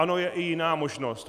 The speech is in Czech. Ano, je i jiná možnost.